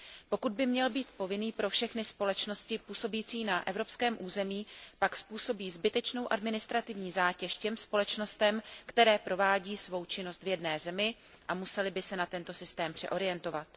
Pokud by měl být povinný pro všechny společnosti působící na evropském území, pak způsobí zbytečnou administrativní zátěž těm společnostem, které provádí svou činnost v jedné zemi a musely by se na tento systém přeorientovat.